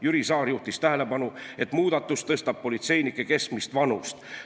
Jüri Saar juhtis tähelepanu, et muudatus tõstab politseinike keskmist vanust.